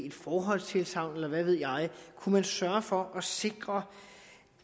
et forhåndstilsagn eller hvad ved jeg kunne man sørge for at sikre